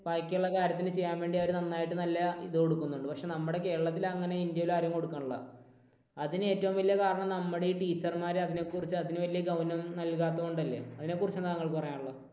ബാക്കിയുള്ള കാര്യത്തിന് ചെയ്യാൻ വേണ്ടി അവർ നന്നായിട്ട് നല്ല ഇത് കൊടുക്കുന്നുണ്ട്. പക്ഷേ നമ്മുടെ കേരളത്തിൽ അങ്ങനെ ഇന്ത്യയിൽ ആരും കൊടുക്കുന്നില്ല. അതിന് ഏറ്റവും വലിയ കാരണം നമ്മുടെ ഈ teacher മാര് അതിനെക്കുറിച്ച് അതിനു വലിയ ഗൗനം നൽകാത്തതുകൊണ്ടല്ലേ? അതിനെക്കുറിച്ച് എന്താണ് താങ്കൾക്ക് പറയാനുള്ളത്?